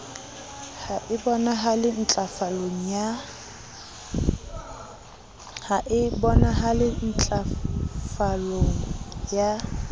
ha e bonahale ntlafalong ya